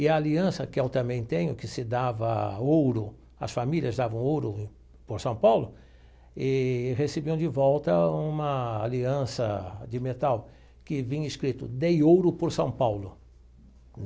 E a aliança que eu também tenho, que se dava ouro, as famílias davam ouro por São Paulo, e recebiam de volta uma aliança de metal que vinha escrito, dei ouro por São Paulo.